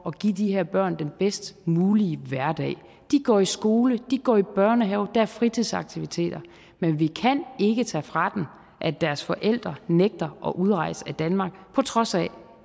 at give de her børn den bedst mulige hverdag de går i skole de går i børnehave der er fritidsaktiviteter men vi kan ikke tage fra dem at deres forældre nægter at udrejse af danmark på trods af at